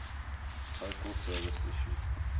postal service issued